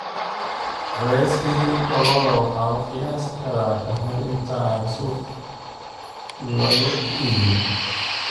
Culayska hilibka lo'da waxa la qiyaasi karaa ka hor inta aan suuqa lagu iibin.